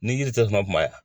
Ni yiri tɛ